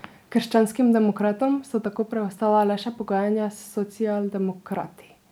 Krščanskim demokratom so tako preostala le še pogajanja s socialdemokrati.